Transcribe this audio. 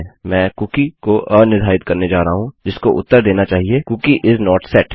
मैं कुकी को अनिर्धारित करने जा रहा हूँ जिसको उत्तर देना चाहिए कूकी इस नोट सेट